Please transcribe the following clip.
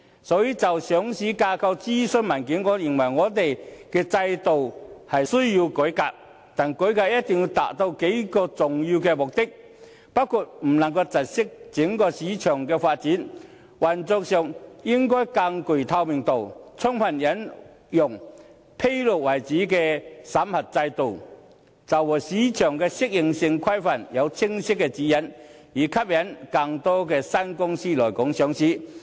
所以，就上市架構諮詢文件而言，我認為我們的制度需要改革，但改革一定要達到數個重要目的，包括不能窒礙整體市場發展、運作上應更具透明度、充分引用以披露為主的審核制度，以及就市場適應性規範訂定清晰的指引，以吸引更多新公司來港上市。